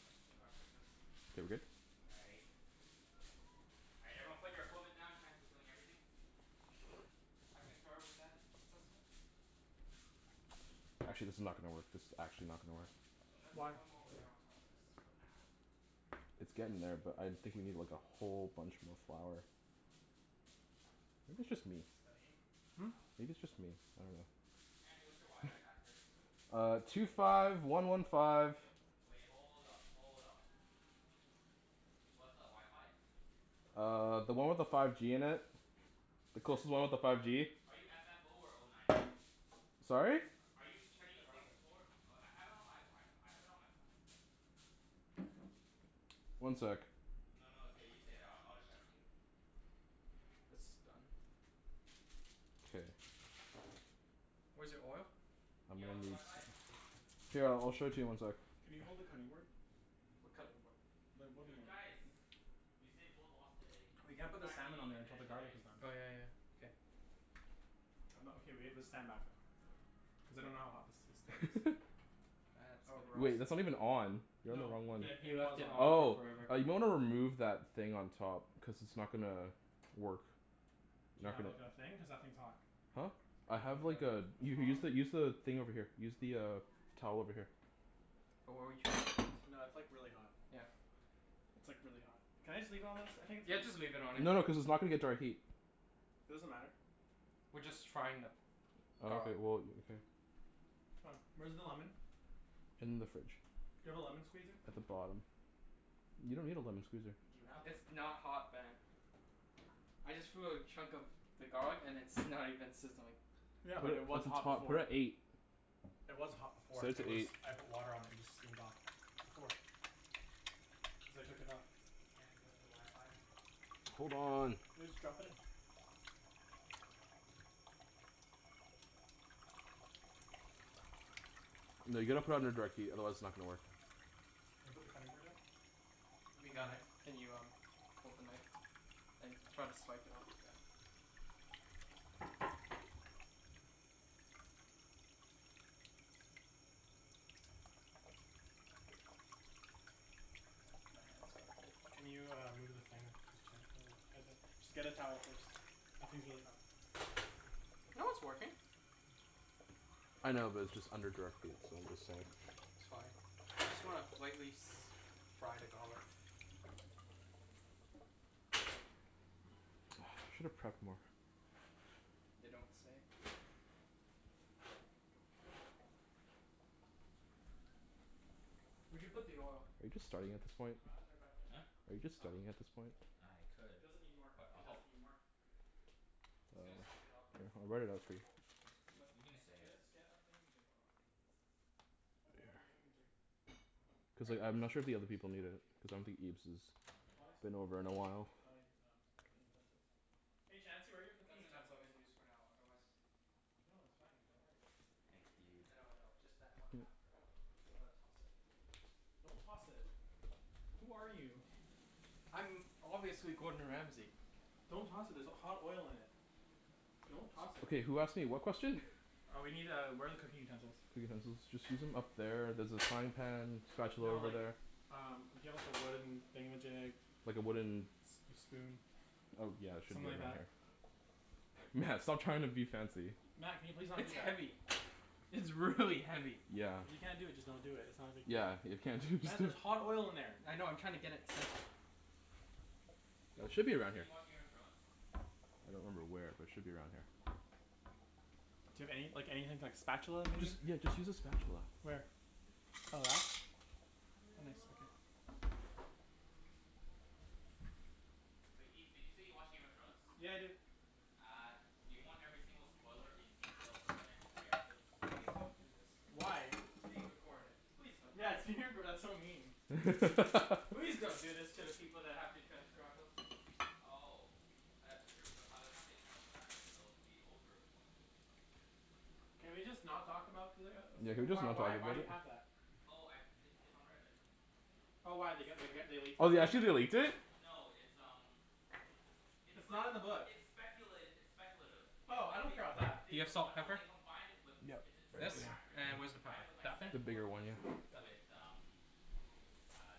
Back to wrapping this. K, we're good? All right. All right, everyone put your equipment down. Chancey's doing everything. I concur with that assessment. Actually, this is not gonna work. This is actually not gonna work. Should I put Why? one more layer on top of this for Nah. It's It's gonna getting there, seep but through, I for think sure, we need but like a whatever. whole bunch more flour. Maybe it's just me? Studying? Hmm? No. Maybe it's just me? I dunno. Chancey, what's your wi-fi password? Uh, two five one one five Wait, hold up. Hold up. What's the wi-fi? Uh, the one with the five G in it. The There's closest one two with the with five five G. G. Are you f f oh, or oh nine nine? Sorry? Are you Check the C router. six four Oh, I have it on my Wi- F- I have it on my phone. One sec. No, no, it's okay. You stay there. I I'll just shout to you. This is done. K. Where's your oil? I'm Yeah, gonna what's the need wi-fi? s- Here, I'll show it to you in one sec. Can you hold the Okay. cutting board? What cutting board? The wooden Dude, one. guys! Usain Bolt lost today. We can't In put the fact, he salmon didn't on even there until finish the the race. garlic is done. Oh yeah yeah. K. I'm not okay, we have to stand back though. Cuz I don't know how hot this this still is. Wait, That's that's gonna not even on. You're on the wrong No, one. He the, he it left was it on. on for Oh. forever. Uh, you might wanna remove that thing on top. Cuz it's not gonna work. Do you Not have gonna like, a thing? Cuz that thing's hot. Huh? I Do you have have like like a a a U- use tong? the use the thing over here. Use the uh towel over here. Wh- what were you No, it's like, really hot. Yeah. It's like, really hot. Can I just leave it on this? I think it's Yeah, just fine. leave it on it. No no, cuz it's not gonna get direct heat. Doesn't matter. We're just frying the Oh, okay. garlic. Well, okay. C'mon. Where's the lemon? In the fridge. Do you have a lemon squeezer? At the bottom. You don't need a lemon squeezer. Do you have one? It's not hot, Ben. I just threw a chunk of the garlic and it's not even sizzling. Yeah, But, but We're it at was cuz the it's hot top, hot, we're before. we're at at eight. eight. It was hot before. Set it It to was, eight. I put water on it and it just steamed off. Before. Cuz I took it off. Chancey, what's your wi-fi? Hold on. Yeah, just drop it in. Drop it like it's hot. No, you gotta put it under direct heat, otherwise it's not gonna work. Can you put the cutting board in? We And a got it. knife? Can you um hold the knife? And try to swipe it all, yeah. My hands got a bit Can you, uh, move the thing? Cuz Chan Just get a towel first. That thing's really hot. No, it's working. I know, but it's just under direct heat, so I'm just saying. It's fine. We just wanna lightly s- fry the garlic. I should have prepped more. You don't say. Where'd you put the oil? Are you just starting at this point? Oh right, it's right back there. Huh? Are you just Oh. starting at this point? I It could. doesn't need more. But It I'll doesn't help. need more. It's Oh, gonna soak it up. here, I'll write it out for you. But you can just say get it. a, just get a thingamajig. Hold on. Get a Here. thingamajig. Yeah, Cuz All right. like, I'm ask not sure if Chancey the where other his people need it. thingamajig Cuz is. I don't Oh. think Ibs Okay. has been over in a while. Try um some cooking utensils. Hey Chancey, where are your cooking That's enough lemon utensils? juice for now, otherwise No, it's fine. Don't worry about it. Thanks, I dude. know, I know. Just add one half for now though, cuz I'm gonna toss it. Don't toss it. Who are you? I'm obviously Gordon Ramsey. Don't toss it, there's h- hot oil in it. Don't toss it. Okay, who asked me what question? Uh we need uh, where are the cooking utensils? Utensils. Just use them, up there, there's a frying pan spatula No over like, there. um we need a wooden thingamajig. Like a wooden S- a spoon. Oh, yeah, should Something be right like that? here. Mat, stop trying to be fancy. Mat, can you please not do It's that? heavy. It's really heavy. Yeah. If you can't do it, just don't do it. It's not a big Yeah, deal. if you can't do it just Mat, d- there's hot oil in there. I know. I'm trying to get it centered. Wait, It Ibs, should did be you say around here. you watch Game of Thrones? I don't remember where, but it should be around here. Do you have any like, anything like spatula I'm gonna Just, maybe? drink yeah, my just use a cocoa in this spatula. peace. Where? Your cocoa in Oh, peace? that? I'm Oh in nice. Okay. love with the cocoa. But Ibs, did you say you watch Game of Thrones? Yeah, I do. Uh, do you want every single spoiler in detail for the next three episodes? Please don't do this. Why? It's being recorded. Please don't do this. Yes, you did, but that's so mean. Please don't do this to the people that have to transcribe us. Oh. That's true. But by the time they transcribe it it'll be over, won't it? Can we just not talk about the uh as- Yeah, can w- we just why not talk why do about you it? have that? Oh, I, it's it's on Reddit. Oh, why? They g- they g- they leaked it Oh, they already? actually, they leaked it? No, it's um it's It's like, not in the book. it's speculat- it's speculative. But Oh, I like, don't they care 'bout that. they Do you have combi- salt no, they pepper? combined it with Yep, It's it's right there. This? really accurate. Like, And they where's the There. combine pepper? it with like, That thing? set The bigger one, photos yeah. Got it. with um uh,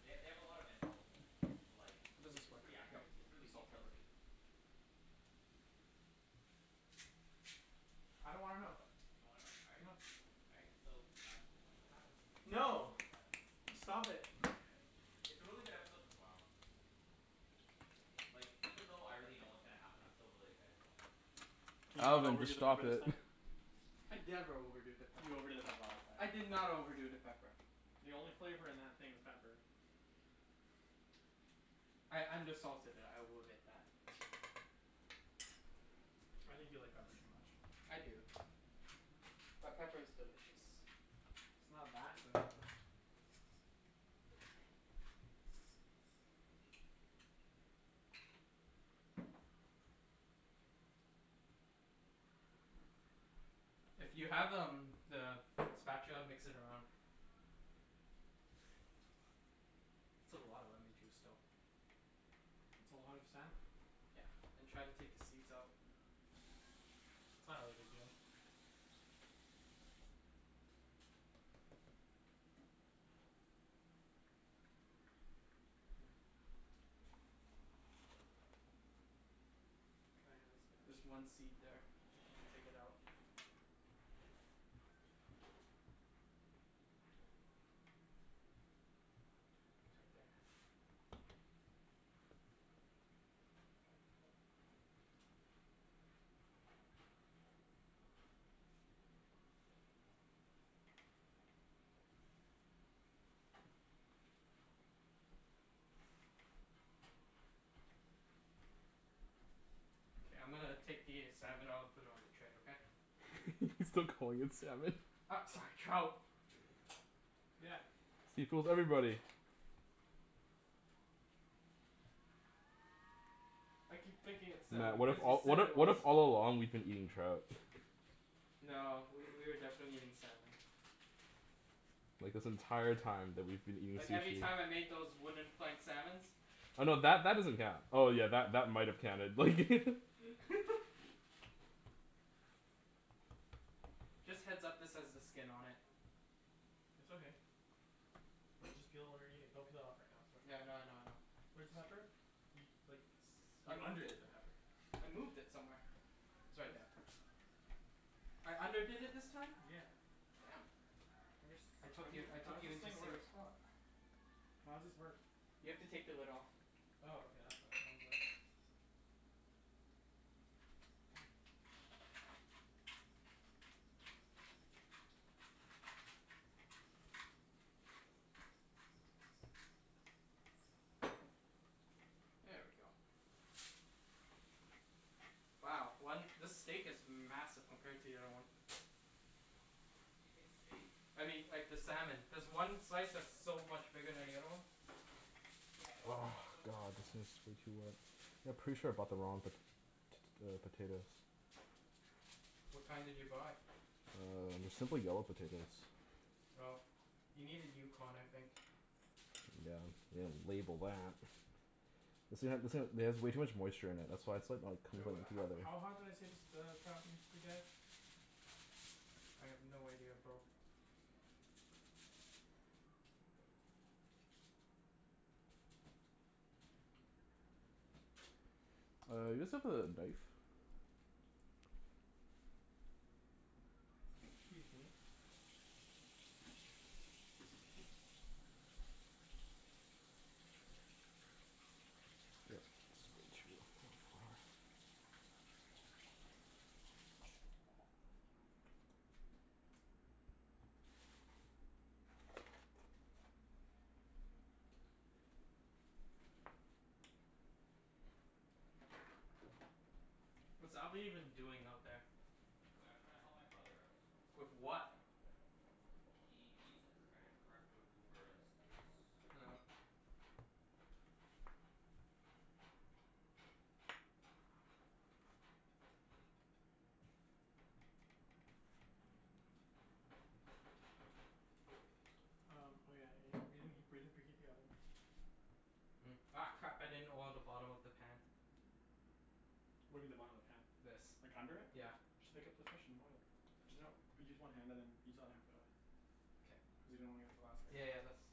they they have a lot of info. But like, How does it's this it's work? pretty Yep, accurate. It's preally salt pepper. detailed, too. I don't wanna know. What the You don't wanna know? All right. No. All right. So, uh, pretty much what happens in tomorrow No! is that Stop it. It's a really good episode in tomorrow. Like, even though I already know K. what's gonna happen, I'm still really excited to watch it. Can you not Alvin, overdo just the pepper stop this it. time? I never overdo the pepper. You overdid it last time. I did not overdo the pepper. The only flavor in that thing was pepper. I undersalted it. I will admit that. I think you like pepper too much. I do. But pepper is delicious. It's not that good. If you have um the spatula mix it around. That's a lot of lemon juice though. It's a lot of salmon. Yeah, and try to take the seeds out. It's not really a big deal. Yeah. Here. Can I have a There's spatch? one seed there. If you could take it out. It's right there. K, I'm gonna take the salmon out and put it on the tray, okay? He's still calling it salmon. U- sorry, trout. Yeah. See? Fools everybody. I keep thinking it's Mat, salmon what if because you all, said what it i- what was. if all along we've been eating trout? No, w- we were definitely eating salmon. Like this entire time that we've been eating Like, every sushi time I made those wooden plank salmons. Oh no, that that doesn't count. Oh yeah, that that might have counted, like Just heads up, this has the skin on it. It's okay. We'll just peel when we're eating. Don't cut it off right now. It's too much work. Yeah, I know I know I know. Where's the pepper? You, like, S- s- I you moved underdid it. the pepper. I moved it somewhere. It's right there. I underdid it this time? Yeah. Damn. Where's, I how took do you- you, I took how's you this into thing work? serious thought. How's this work? You have to take the lid off. Oh, okay. That's why. I was like There we go. Wow. One, this steak is massive compared to the other one. Did you say steak? I mean, like, the salmon. There's one slice that's so much bigger than the other one. Yeah, but Oh, steak is so much more god, this filling. is way too wet. Yeah, pretty sure I bought the wrong po- t- t- uh, potatoes. What kind did you buy? Uh, they're simply yellow potatoes. Oh. You needed Yukon, I think. Yeah, they didn't label that. This thing ha- this thing ha- it has way too much moisture in it. That's why it's like, not Wait, coming what ho- together. how hot did I say the s- the trout needs to get? I have no idea, bro. Uh, you guys have the knife? Excuse me. Yep, this is way too What's Alvin even doing out there? Wait, I'm trying to help my brother out. With what? He needs a credit card for Uber in the States. Oh. Um, oh yeah. Y- we didn't he- we didn't preheat the oven. Hmm. Ah, crap. I didn't oil the bottom of the pan. What do you mean the bottom of the pan? This. Like, under it? Yeah. Just pick up the fish and oil it. There's no but use one hand and then use the other hand for the other one. K. Cuz you don't wanna get the Yeah yeah yeah, that's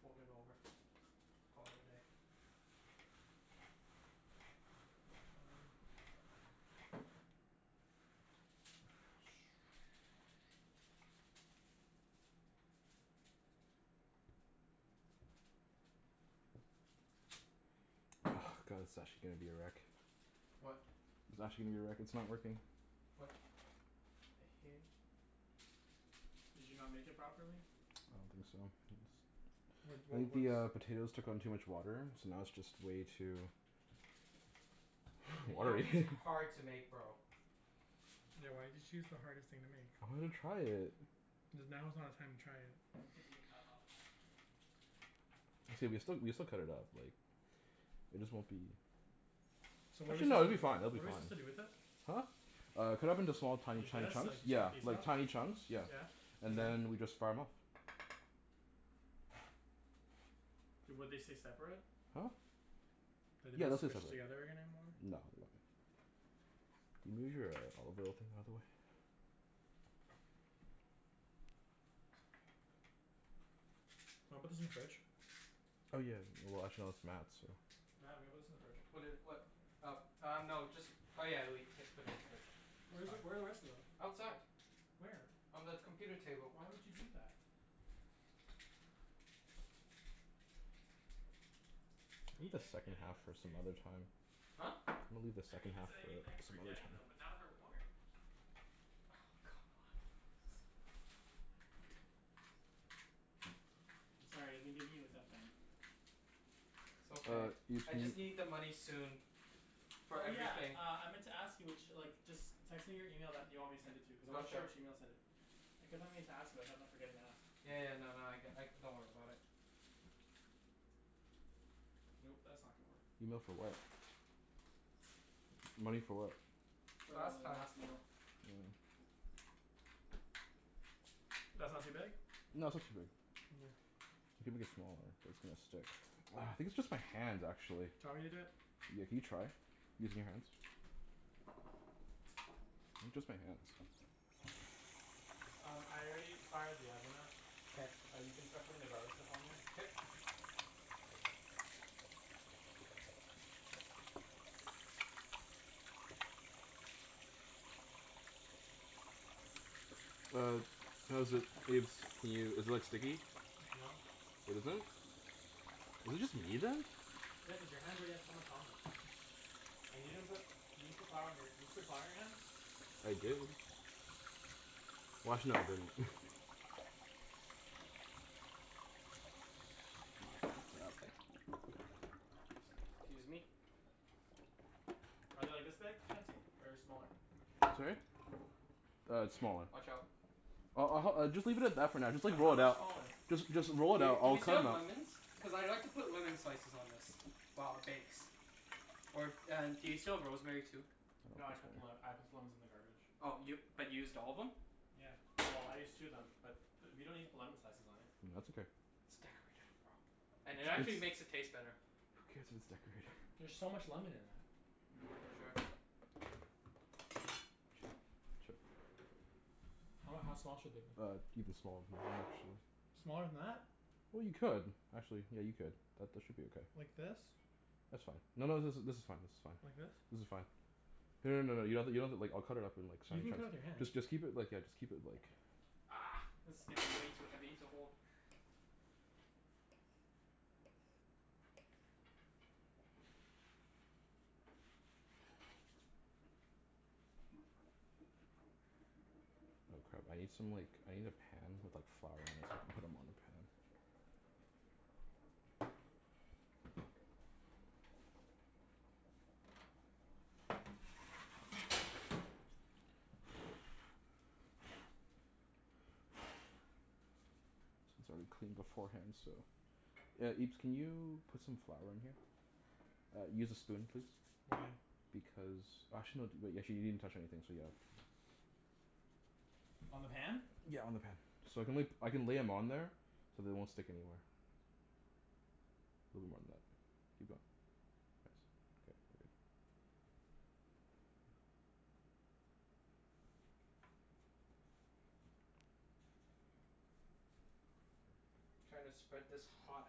Fold it over. Call it a day. Mm. Ah, god it's actually gonna be a wreck. What? It's actually gonna be a wreck. It's not working. What? The hell. Did you not make it properly? I don't think so. It's What I wa- think the what's uh, potatoes took on too much water so now it's just way too I mean, watery. gnocchi's hard to make, bro. Yeah, why did you choose the hardest thing to make? I wanted to try it. Cuz now is not a time to try it. Yeah, now's not the time to try it. It's gonna be still, we can still cut it up, like It just won't be So what are su- Actually no, it'll be do, fine. It'll what be are we fine. supposed to do with it? Huh? Uh, cut it up into small, tiny Like chu- this? So chunks. as to get the Yeah, piece like off? tiny chunks, yeah. Yeah. And And then? then we just fire 'em off. Would they stay separate? Huh? Are they Yeah, not they'll stay squished separate. together any- anymore? No, they won't. Can you move your uh olive oil thing out of the way? Wanna put this in the fridge? Oh yeah. Well, actually no, it's Mat's, so Mat, I'm gonna put this in the fridge. What i- what? Uh uh, no. Just Oh yeah, le- c- put it in the fridge. It's Where is, fine. where are the rest of them? Outside. Where? On the computer table. Why would you do that? I mean Leave the thanks for second getting half them, but for some other seriously. time. Huh? I'm gonna leave the I mean, second I half said I mean thanks for for some other getting time. them but now they're warm. Oh, God. come on. I'm sorry. I've been giving you a tough time. It's okay. Uh, you I just need the money soon. For Oh yeah, everything. uh, I meant to ask you ch- like just text me your email that you want me to send it to, cuz I wasn't sure Gotcha. which email to send it. I kept on meaning to ask you but I kept on forgetting to ask. Yeah yeah, no no, I c- like, don't worry about it. Nope. That's not gonna work. Email for what? Money for what? For the Last time. last meal. Mm. That's not too big? No, that's not too big. You can make it smaller. It's gonna stick. Ah, I think it's just my hands, actually. Do you want me to do it? Yeah, can you try? Using your hands? Maybe just my hands. Um, I already fired the oven up. K. Uh, you can start putting the garlic stuff on there. K. Uh how's it, Ibs? Can you, is it like sticky? No. It isn't? Is it just me, then? Yeah, cuz your hands already had so much on them. And you didn't put, you didn't put flour on your Did you put flour on your hands? I did. Well, actually I've been K. Excuse me. Are they like this big, Chancey? Or smaller? Sorry? Uh, smaller. Watch out. I'll I'll hel- just leave it at that for now. Just So, like, roll how it much out. smaller? Just just roll Do it y- out. do I'll we cut still 'em have up. lemons? Cuz I'd like to put lemon slices on this. While it bakes. Or and do you still have rosemary, too? That's No, I cut the le- better. I put the lemons in the garbage. Oh, y- but you used all of them? Yeah. Well, I used two of them. But we don't need to put lemon slices on it. That's okay. It's decorative, bro. And it Yeah, I actually It's just makes it taste better. Who cares if it's decorated? There's so much lemon in that. Sure. Watch Chop. out. Chop. How how small should they be? Uh, even smaller than that actually. Smaller than that? Well, you could. Actually, yeah, you could. That that should be okay. Like this? That's fine. No no, this is this is fine, this is Like fine. this? This is fine. No no no no, you have to, you don't have to like, I'll cut it up in like You tiny can cut it with your chunks. hand. Just just keep it like, yeah, just keep it like Argh! This is getting way too heavy to hold. Oh crap. I need some like, I need a pan with like flour in it so I can put 'em on the pan. Since I already cleaned beforehand, so Yeah, Ibs, can you put some flour in here? Uh, use a spoon please. Why? Because, actually no, d- wait, you actually didn't touch anything, so yeah. On the pan? Yeah, on the pan. So I can la- I can lay 'em on there so they won't stick anymore. Little more than that. Keep going. Thanks. K, we're good. Trying to spread this hot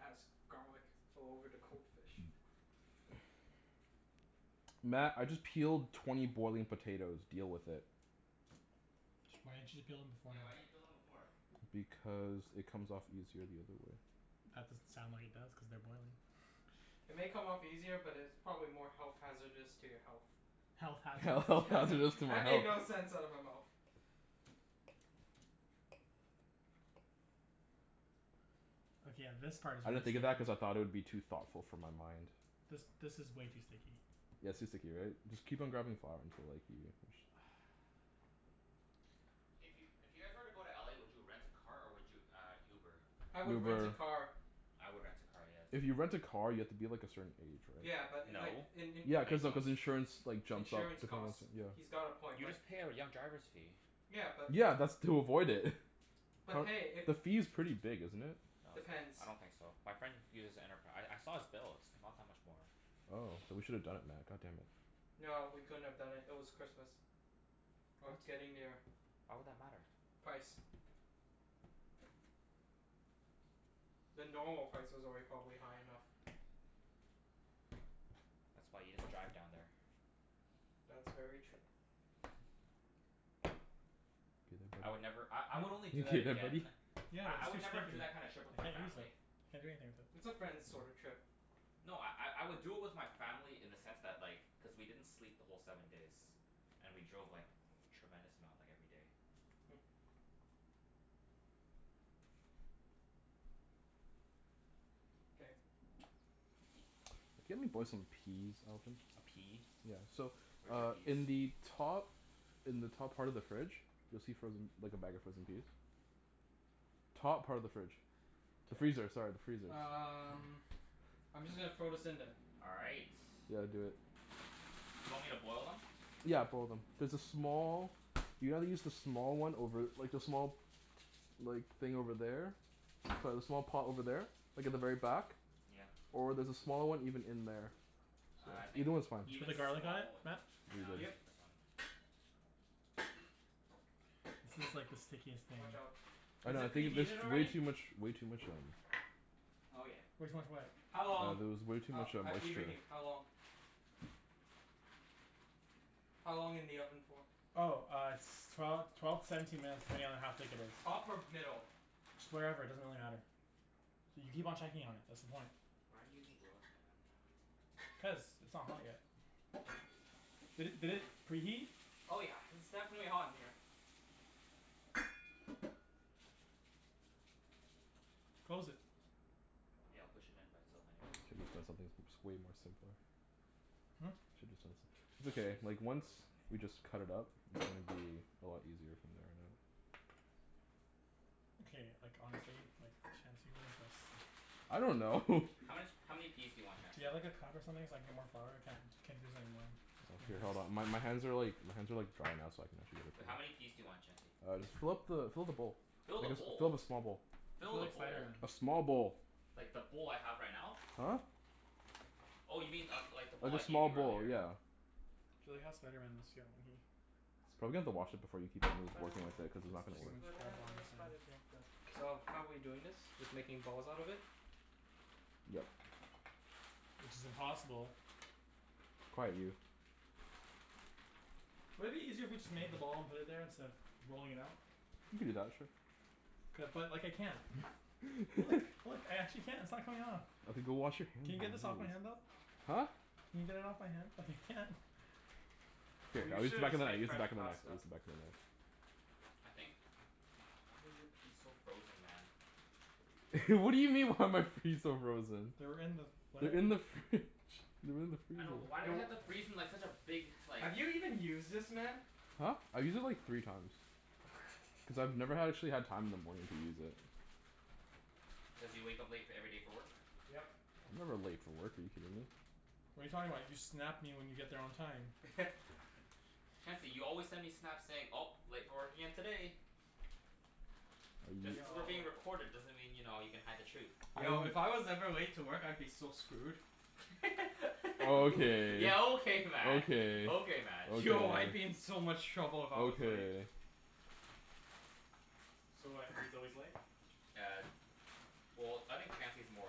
ass garlic all over the cold fish. Mat, I just peeled twenty boiling potatoes. Deal with it. Why didn't you just peel them Yeah, why beforehand? didn't you peel them before? Because it comes off easier the other way. That doesn't sound like it does, cuz they're boiling. It may come off easier, but it's probably more health hazardous to your health. Health Health hazardous to hazardous to my That made health. no sense out of my mouth. Okay, yeah, this part I didn't think of that cuz I thought it would be too thoughtful for my mind. This this is way too sticky. Yeah, it's too sticky, right? Just keep on grabbing flour until like, you Hey, if you if you guys were to go to LA, would you rent a car or would you uh Uber? I would rent a Uber. car. I would rent a car, yes. If you rent a car, you have to be like, a certain age, right? Yeah, but like No. in in Yeah, cuz of, cuz insurance like, jumps up insurance the cost, costs. yeah. He's got a point, You but just pay a r- young driver's fee. Yeah, but if Yeah, that's to avoid it. But But hey, if the fee's pretty big, isn't it? No, it's not. I Depends. don't think so. My friend uses Enterpri- I I saw his bills. Not that much more. Oh, then we should have done it Mat, god damn it. No, we couldn't have done it. It was Christmas. Or What? getting there. Why would that matter? Price. The normal price was already probably high enough. That's why you just drive down there. That's very true. I would never, I I would only do You that okay there, buddy? again Yeah, I I they're would too never do sticky. that kind of I trip with my can't use family. it. Can't do anything with it. It's a friends sorta Yeah. trip. No, I I I would do it with my family in the sense that, like cuz we didn't sleep the whole seven days. And we drove like, tremendous amount like, every day. Hmm. K. Can you help me boil some peas, Alvin? A pea? Yeah. So, Where's your uh in peas? the top in the top part of the fridge you'll see frozen like, a bag of frozen peas. Top part of the fridge. The freezer, sorry. The freezer, K. sorry. Um Freezer. I'm just gonna throw this in then. All right. Yeah, do it. Do you want me to boil them? Yeah, boil them. There's a small, you gotta use the small one over, like the small like, thing over there. Sorry, the small pot over there. Like at the very back. Yeah. Or there's a small one even in there. Ah, I think Either one's fine. Did you put even the garlic on small w- it, Mat? No, Yeah, I'll buddy. just Yep. use this one. This is like the stickiest thing. Watch out. I Is know, I it think there's preheated way already? too much, way too much, um Oh yeah. Yeah. Way too much what? How Uh, long? there was way too Oh, much uh uh, moisture. Ibrahim? How long? How long in the oven for? Oh, uh s- twelve twelve to seventeen minutes depending on how thick it is. Top or middle? Just wherever. It doesn't really matter. So you keep on checking on it. That's the point. Why aren't you using gloves, man? Cuz it's not hot yet. Did it did it preheat? Oh yeah. It's definitely hot in here. Close it. Yeah, I'll push it in by itself anyways. I just should of done something that's way more simpler. Hmm? Should just done som- It's Why are okay. these Like, once frozen we just cut it up, it's gonna be a lot easier from there on out. Okay, like, honestly like, Chancey. What is this? I don't know. How much, how many peas do you want, Do you Chancey? have like a cup or something so I can get more flour? I can't can't do this anymore. Okay, hold on. My my hands are like, my hands are like dry now so I can Wait, how actually many peas do you want, Chancey? Uh, just fill up the fill up the bowl. Fill the I guess fill bowl? the small bowl. I feel Fill the like bowl? Spider Man. A small bowl. Like, the bowl I have right now? Huh? Oh, you mean uh like the Like bowl I a gave small you bowl, earlier? yeah. I feel like how Spider Man must feel. Probably have Spider to wash Man. it before you keep on working Spider with Man. it, cuz it's not It's gonna Just too much work. on whatever a his hand. spider pan does. So, how we doing this? Just making balls out of it? Yep. Which is impossible. Quiet, you. Wouldn't it be easier if we just made them all and put it there, instead of rolling it out? You could do that, sure. Cuz like, I can't. Look, look. I actually can't. It's not coming off. Okay, go wash your hand, Can you get jeez. this off my hand, though? Huh? Can you get it off my hand, cuz I can't? Here, We I'll use the should have back of just the made knife, use the fresh back of the knife, pasta. use the back of the knife. I think why are your peas so frozen, man? What do you mean, why are my fees so frozen? They were in with what? They're in the fridge. They're in the I freezer. know, but why do they Yo have to freeze them like such a big, like Have you even used this, man? Huh? I've used it like, three times. Cuz I've never ha- actually had time in the morning to use it. Cuz you wake up late f- every day for work? Yep. I'm never late for work. Are you kidding me? What are you talking about? You Snap me when you get there on time. Chancey, you always send me Snaps saying, "Oh, late for work again today." Are Just you cuz we're Yo. being recorded doesn't mean, you know, you can hide the truth. Yo, if I was ever late to work I'd be so screwed. Okay. Yeah, okay Mat! Okay, Okay Mat. Yo, I'd be okay. in so much trouble if I was late. Okay. So what, he's always late? Yeah. Well, I think Chancey's more